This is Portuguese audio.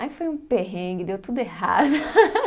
Aí foi um perrengue, deu tudo errado.